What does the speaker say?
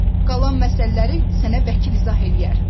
Qalan məsələləri sənə vəkil izah eləyər.